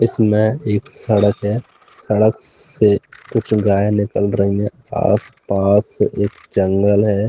इसमें एक सड़क है सड़क से कुछ गायें निकल रही है आस-पास एक जंगल है।